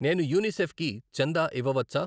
నేను యునిసెఫ్ కు కి చందా ఇవ్వవచ్చా?